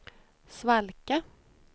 svalka